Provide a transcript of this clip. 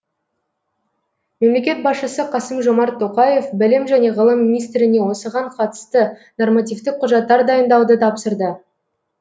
мемлекет басшысы қасым жомарт тоқаев білім және ғылым министріне осыған қатысты нормативтік құжаттар дайындауды тапсырды